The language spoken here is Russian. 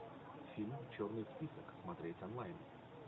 фильм черный список смотреть онлайн